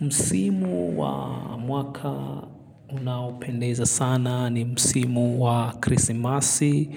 Msimu wa mwaka unaopendeza sana ni msimu wa krisimasi